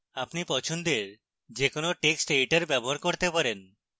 আপনি পছন্দের যে কোনো text editor ব্যবহার করতে পারেন